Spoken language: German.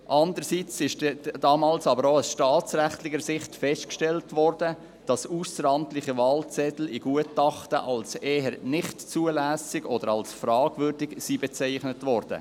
Andererseits wurde damals auch aus staatsrechtlicher Sicht festgestellt, dass ausseramtliche Wahlzettel in Gutachten als eher nicht zulässig oder als fragwürdig bezeichnet wurden.